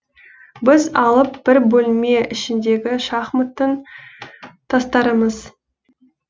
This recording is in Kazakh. біз алып бір бөлме ішіндегі шахматтың тастарымыз